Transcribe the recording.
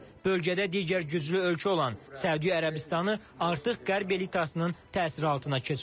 Bölgədə digər güclü ölkə olan Səudi Ərəbistanı artıq Qərb elitasının təsiri altına keçib.